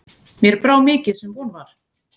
Mér brá mikið sem von var.